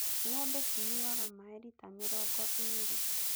Ng'ombe cinyuaga maaĩ rita mĩrongo ĩĩrĩ